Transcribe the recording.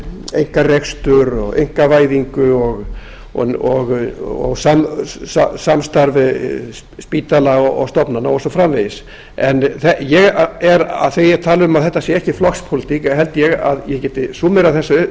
einkarekstur og einkavæðingu og samstarf spítala og stofnana og svo framvegis en þegar ég tala um að þetta sé ekki flokkspólitík eða ég held að ég geti súmmerað þessa